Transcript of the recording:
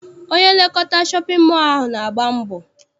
Onye nlekọta shọpịn mọọ ahụ na-agba mbọ.